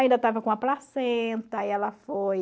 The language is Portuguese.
Ainda tava com a placenta, aí ela foi...